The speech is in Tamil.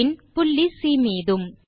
பின் புள்ளி சி மீதும்